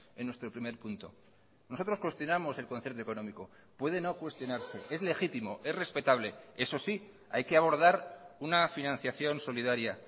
en nuestro primer punto nosotros cuestionamos el concierto económico puede no cuestionarse es legítimo es respetable eso sí hay que abordar una financiación solidaria